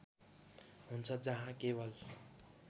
हुन्छ जहाँ केवल